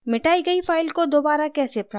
मिटाई गयी file को दोबारा कैसे प्राप्त करते हैं